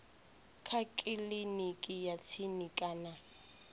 kha kiliniki ya tsini kana